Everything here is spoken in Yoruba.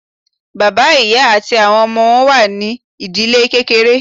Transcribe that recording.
Bàbá, ìyá àti àwọn ọmọ wọn ní o wà ní ìdílé kékeré.